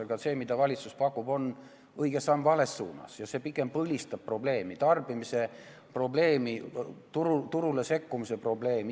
Aga see, mida valitsus pakub, on õige samm vales suunas ja see pigem põlistab probleemi: tarbimise probleemi, turule sekkumise probleemi.